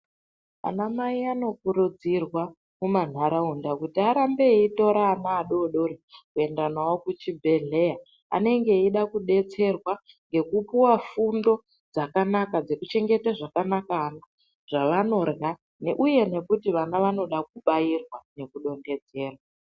Anamai anokurudzirwa mumantaraunda kuti arambe eitora ana adodori kuenda nawo kuchibhedhleya anenge eida kudetserwa ngekupuwa fundo dzakanaka dzekuchengeta zvakanaka zvavanorya uye nekuti vana vanoda kubairwa nekudonhedzerwa.